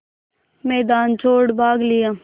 मैदान छोड़ भाग लिया